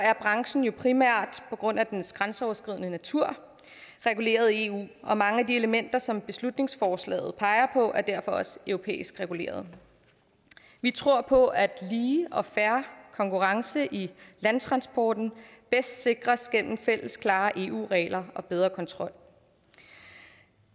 er branchen jo primært på grund af dens grænseoverskridende natur reguleret af eu og mange af de elementer som beslutningsforslaget peger på er derfor også europæisk reguleret vi tror på at lige og fair konkurrence i landtransporten bedst sikres gennem fælles klare eu regler og bedre kontrol